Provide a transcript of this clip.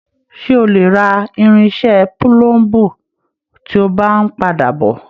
Ṣe o lè rà irinṣẹ́ púlúmbu tí o bá n padà bọ?